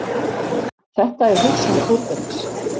Þetta er hugsjón Þórbergs.